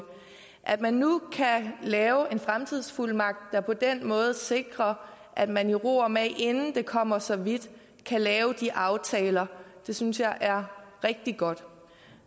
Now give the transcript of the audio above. at man nu kan lave en fremtidsfuldmagt der på den måde sikrer at man i ro og mag inden det kommer så vidt kan lave de aftaler synes jeg er rigtig godt